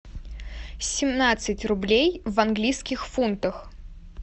семнадцать рублей в английских фунтах